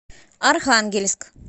архангельск